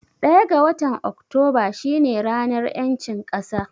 Ɗaya ga watan Oktoba shi ne ranar ƴancin ƙasa